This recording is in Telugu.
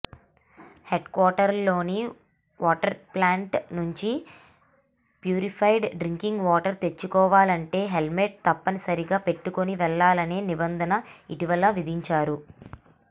హెడ్క్వార్టర్లోని వాటర్ప్లాంటు నుంచి ప్యూరిఫైడ్ డ్రింకింగ్ వాటర్ తెచ్చుకోవాలంటే హెల్మెట్ తప్పనిసరిగా పెట్టుకొని వెళ్లాలనే నిబంధన ఇటీవల విధించారు